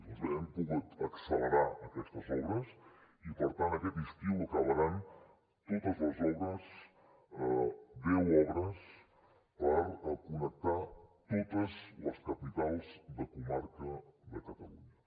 doncs bé hem pogut accelerar aquestes obres i per tant aquest estiu acabaran totes les obres deu obres per connectar totes les capitals de comarca de catalunya